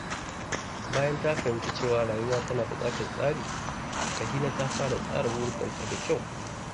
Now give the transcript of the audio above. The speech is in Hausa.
Bayan ta fahimci cewa rayuwa tana buƙatar tsari, Rahina ta fara tsara burikanta da kyau.